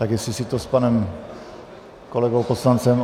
Tak jestli si to s panem kolegou poslancem...